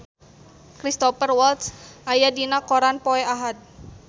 Cristhoper Waltz aya dina koran poe Ahad